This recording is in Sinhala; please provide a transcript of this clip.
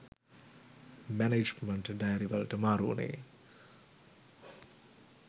මැනේජ්මන්ට් ඩයරි වලට මාරු උනේ